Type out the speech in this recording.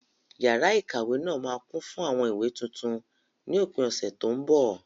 Yàrá ikawe náà máa kún fún àwọn ìwé tuntun ni òpin ọ̀sẹ̀ tó ń bọ̀.